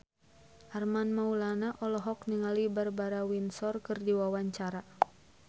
Armand Maulana olohok ningali Barbara Windsor keur diwawancara